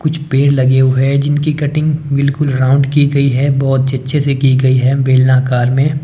कुछ पेड़ लगे हुए हैं जिनकी कटिंग बिल्कुल राउंड की गई है बहुत ही अच्छे से की गई है बेलनाकार में।